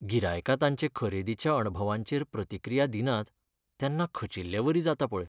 गिरायकां तांचे खरेदीच्या अणभवांचेर प्रतिक्रिया दिनात तेन्ना खचिल्लेवरी जाता पळय.